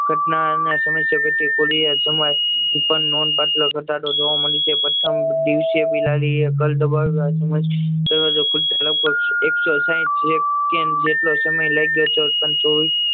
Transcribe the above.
ઘટના ના સમયસર પેટી એ ખુલે નોંધ લતા જોવા મળી છે દરવાજો ખુલતા લગભગ એકસો સાઈઠ જેટલો સમય લાગ્યો તો